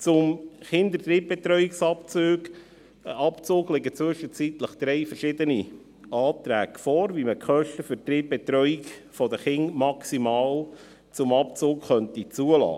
Zum Kinderdrittbetreuungsabzug liegen zwischenzeitlich drei verschiedene Anträge vor, wie man die Kosten für die Drittbetreuung der Kinder maximal zum Abzug zulassen könnte: